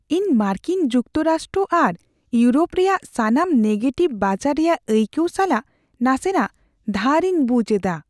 ᱤᱧ ᱢᱟᱨᱠᱤᱱ ᱡᱩᱠᱛᱚ ᱨᱟᱥᱴᱨᱚ ᱟᱨ ᱤᱭᱩᱨᱳᱯ ᱨᱮᱭᱟᱜ ᱥᱟᱱᱟᱢ ᱱᱮᱜᱮᱴᱤᱵᱷ ᱵᱟᱡᱟᱨ ᱨᱮᱭᱟᱜ ᱟᱹᱭᱠᱟᱹᱣ ᱥᱟᱞᱟᱜ ᱱᱟᱥᱮᱱᱟᱜ ᱫᱷᱟᱨᱤᱧ ᱵᱩᱡ ᱮᱫᱟ ᱾